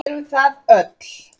Saga verður til